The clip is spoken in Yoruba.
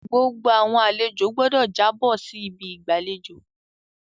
Gbogbo àwọn àlejo gbọdọ jàbo si ibi igbalejo